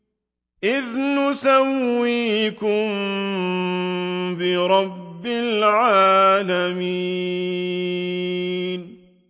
إِذْ نُسَوِّيكُم بِرَبِّ الْعَالَمِينَ